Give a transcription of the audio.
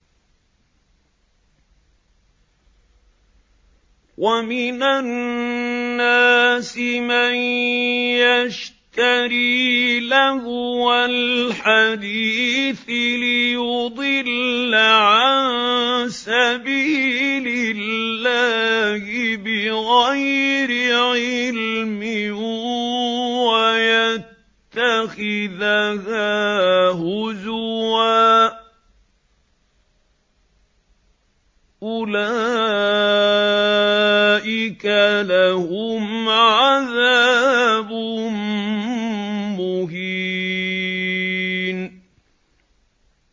وَمِنَ النَّاسِ مَن يَشْتَرِي لَهْوَ الْحَدِيثِ لِيُضِلَّ عَن سَبِيلِ اللَّهِ بِغَيْرِ عِلْمٍ وَيَتَّخِذَهَا هُزُوًا ۚ أُولَٰئِكَ لَهُمْ عَذَابٌ مُّهِينٌ